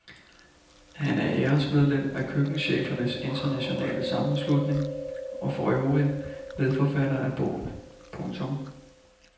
Han er æresmedlem af køkkenchefernes internationale sammenslutning og for øvrigt medforfatter af bogen. punktum